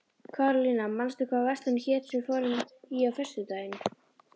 Karólína, manstu hvað verslunin hét sem við fórum í á föstudaginn?